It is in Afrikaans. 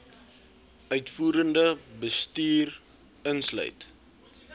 uitvoerende bestuur insluit